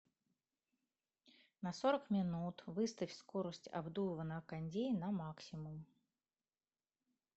на сорок минут выставь скорость обдува на кондее на максимум